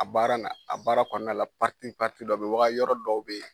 A baara na a baara kɔnɔna la dɔ bɛ waga yɔrɔ dɔw bɛ ye.